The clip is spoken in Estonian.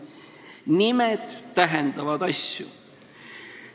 Nimed tähendavad asju.